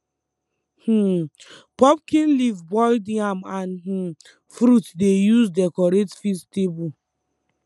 um pumpkin leaf boiled yam and um fruit dey use decorate feast table